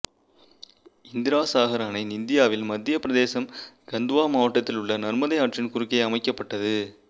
இந்திராசாகர் அணை இந்தியாவில் மத்திய பிரதேசம் கந்த்வா மாவட்டத்தில் உள்ள நர்மதை ஆற்றின் குறுக்கே அமைக்கப்பட்டது